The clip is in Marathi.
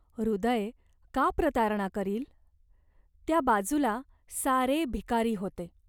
हृदय का प्रतारणा करील ? त्या बाजूला सारे भिकारी होते.